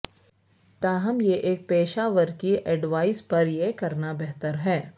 تاہم یہ ایک پیشہ ور کی ایڈوائس پر یہ کرنا بہتر ہے